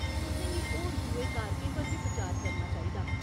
तुसें गी होर दुए कारकें पर बी बिचार करना चाहिदा।